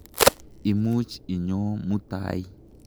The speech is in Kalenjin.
Imuch inyoo mutai.